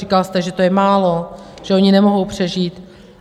Říkal jste, že to je málo, že oni nemohou přežít.